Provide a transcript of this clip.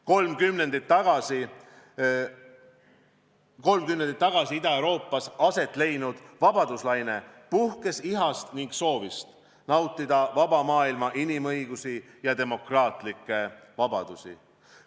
Kolm kümnendit tagasi Ida-Euroopas aset leidnud vabaduslaine puhkes ihast ja soovist nautida vaba maailma inimõigusi ja demokraatlikke vabadusi.